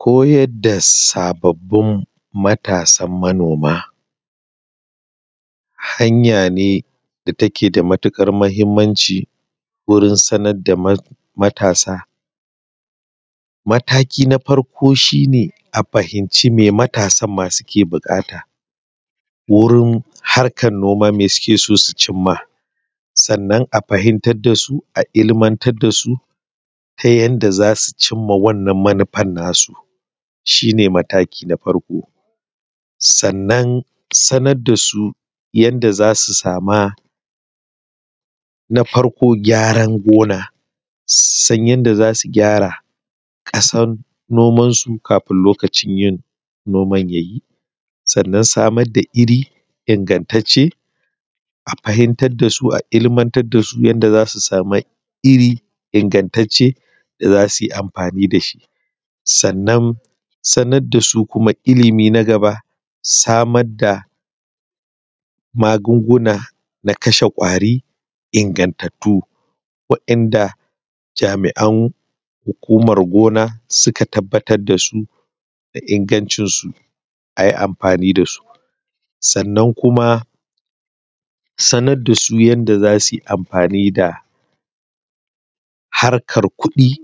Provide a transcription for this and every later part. Koyar da sababin matasan manoma hanaya ce wanda take da matuƙar mahimmanci wurin samar da mataki na farko shi ne a fahimci me matasan ma suke buƙata, eurin harkar noma me suke so su cimma sannan a fahimtar da su a ilimatar da su ta yadda za su cimma wannan manufar nasu shi ne mataki na farko. Sannan sanar da su yadda za su sama gyara gona, su san yadda za su gyara ƙasar nomansu kafin lokacin yin noman ya yi. Sannan samar da iri ingantaccen a fahimtar da su a ilimatar da su yadda za su sama iri ingantaccen da su yi amfani da shi. Sannnan sanar da su ilimi na gaba samara da magunguna na kashe ƙwari ingantattu waɗanda jami'an hukumar gona suka tabbatar da su da ingancinsu a yi amfani da su. Sannan kuma sanar da su yadda za su yi amfani da harkar kuɗi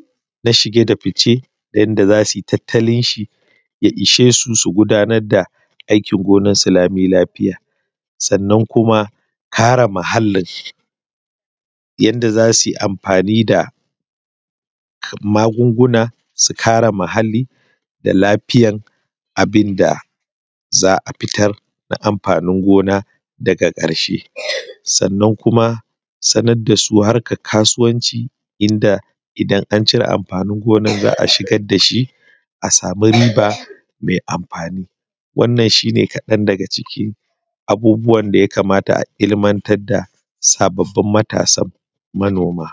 na shike da fice yadda za sunyi tattalin shi ya ishe su su gudanar da aikin gonarsu lami lafiya. Sannan kuma kare muhallin yadda za su yi amfani da magunguwa su kare muhalli da lafiyar abin da za a fitar na amfanin gona daga ƙarshe. Sannan kuma sanar da su harkar kasuwanci inda idan an cire amfani gonar za a shigar da shi a sama riba mai amfani wannan shi ne kaɗan daga ciki abubuwan da ya kamata a ilimatar da sabbabin matasanmu kan noma.